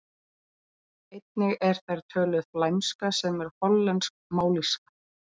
Einnig er þar töluð flæmska sem er hollensk mállýska.